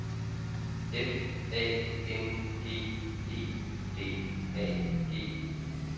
F A N G E D A G